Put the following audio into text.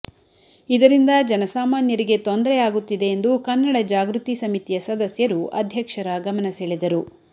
ಇದರಿಂದ ಜನಸಾಮಾನ್ಯರಿಗೆ ತೊಂದರೆ ಆಗುತ್ತಿದೆ ಎಂದು ಕನ್ನಡ ಜಾಗೃತಿ ಸಮಿತಿಯ ಸದಸ್ಯರು ಅಧ್ಯಕ್ಷರ ಗಮನಸೆಳೆದರು